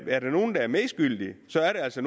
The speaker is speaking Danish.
er nogle der er medskyldige så er det altså